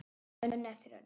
Önn eftir önn.